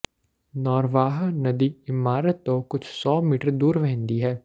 ਨੌਰਵਾਹ ਨਦੀ ਇਮਾਰਤ ਤੋਂ ਕੁਝ ਸੌ ਮੀਟਰ ਦੂਰ ਵਹਿੰਦੀ ਹੈ